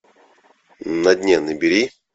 на дне набери